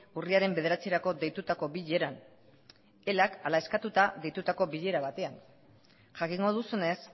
urriaren bederatzirako deitutako bileran elak hala eskatuta deitutako bilera batean jakingo duzunez